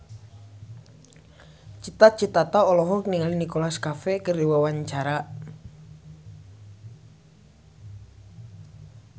Cita Citata olohok ningali Nicholas Cafe keur diwawancara